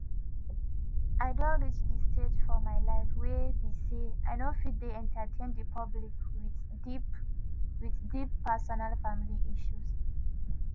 “i don reach di stage for my life wey be say i no fit dey entertain di public wit deep wit deep personal family issues.